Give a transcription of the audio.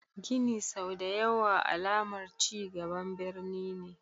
Gini sau da ya wa alamar cingaban birni ne.